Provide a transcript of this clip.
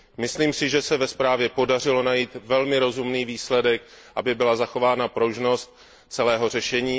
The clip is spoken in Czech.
Myslím si, že se ve zprávě podařilo najít velmi rozumný výsledek, aby byla zachována pružnost celého řešení.